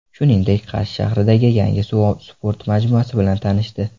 Shuningdek, Qarshi shahridagi yangi suv sporti majmuasi bilan tanishdi .